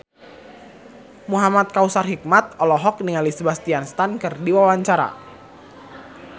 Muhamad Kautsar Hikmat olohok ningali Sebastian Stan keur diwawancara